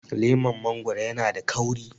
leman mangoro yana da kauri